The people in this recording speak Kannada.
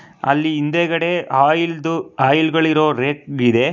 ಅಲ್ಲಿ ಹಿಂದೆಗಡೆ ಆಯಿಲ್ ದು ಆಯಿಲ್ ಗಳ್ ಇರೊ ರೇಟ್ ವಿದೆ.